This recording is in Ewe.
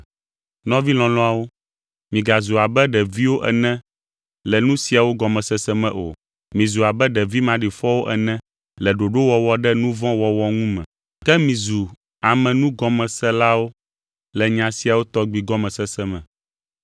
Nɔvi lɔlɔ̃awo; migazu abe ɖeviwo ene le nu siawo gɔmesese me o. Mizu abe ɖevi maɖifɔwo ene le ɖoɖowɔwɔ ɖe nu vɔ̃ wɔwɔ ŋu me, ke mizu ame nugɔmeselawo le nya siawo tɔgbi gɔmesese me.